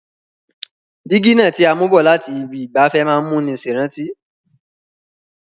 Dígí náà ti a mú bọ̀ láti ibi ìgbafẹ́ má n múni sèrántí